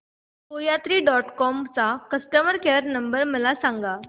कोयात्री dot com चा customer care number मला सांगा